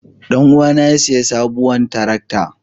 Ɗan uwana ya sayi sabuwar tarakta.